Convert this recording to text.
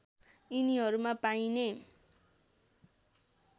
यिनीहरूमा पाइने